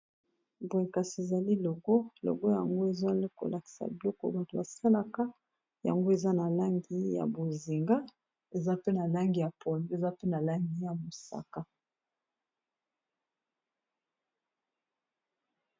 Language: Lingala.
Boye kasi ezali logo, logo yango ezali kolakisa biloko bato basalaka yango eza na langi ya bozinga eza pe na langi ya pondu ,pe eza pe na langi ya mosaka